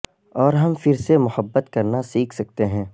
اور ہم پھر سے محبت کرنا سیکھ سکتے ہیں